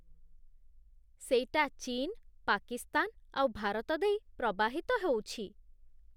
ସେଇଟା ଚୀନ, ପାକିସ୍ତାନ ଆଉ ଭାରତ ଦେଇ ପ୍ରବାହିତ ହଉଛି ।